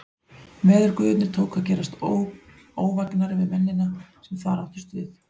Veðurguðirnir tóku og að gerast óvægnari við mennina, sem þar áttust við.